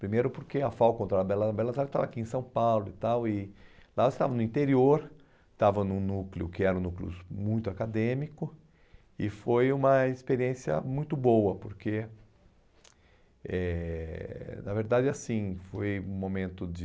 Primeiro porque a FAU contra a Bela a Belas Artes estava aqui em São Paulo e tal, e lá você estava no interior, estava num núcleo que era um núcleo muito acadêmico, e foi uma experiência muito boa, porque, eh, na verdade, assim, foi um momento de...